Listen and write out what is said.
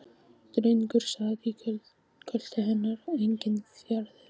Drengur sat í kjöltu hennar og ekkinn fjaraði út.